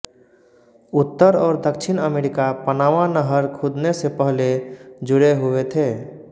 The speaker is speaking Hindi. उत्तर और दक्षिण अमेरिका पनामा नहर खुदने से पहले जुड़े हुए थे